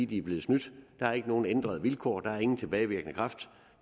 de er blevet snydt der er ikke nogen ændrede vilkår der er ingen tilbagevirkende kraft